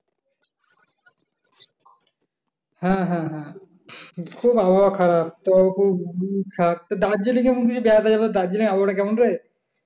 হ্যাঁ, হ্যাঁ, হ্যাঁ খুব আবহাওয়া খারাপ তো খুব খাপ দার্জিলিং বেড়াতে যাবো দার্জিলিং আবহাওয়া টা কেমন রে?